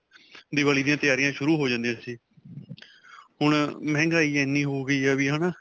ਦੀਵਾਲੀ ਦੀਆਂ ਤਿਆਰੀਆਂ ਸ਼ੁਰੂ ਹੋ ਜਾਂਦੀਆਂ ਸੀ. ਹੁਣ ਮਹਿੰਗਾਈ ਐਨੀ ਹੋ ਗਈ ਹੈ ਵੀ ਹੈ ਨਾ.